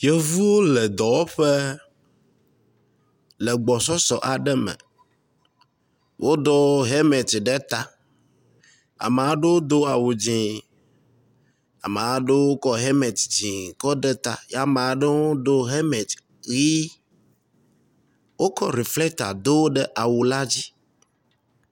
Yevuwo le dɔwɔƒe le gbɔsɔsɔ aɖe me. Woɖɔ helmeti ɖe ta. Ame aɖewo do awu dzɛ̃, ame aɖewo kɔ helmeti dzɛ̃kɔ de ta ye ame aɖewo kɔ helmeti ʋi. Wokɔ reflɛta do ɖe awu la dzi.